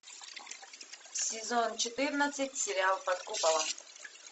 сезон четырнадцать сериал под куполом